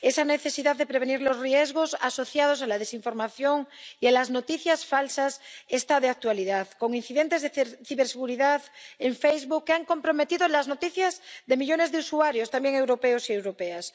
Esa necesidad de prevenir los riesgos asociados a la desinformación y a las noticias falsas está de actualidad, con incidentes de ciberseguridad en Facebook que han comprometido las noticias de millones de usuarios, también europeos y europeas.